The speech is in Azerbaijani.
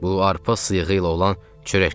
Bu arpa sıyığı ilə olan çörəklərdir.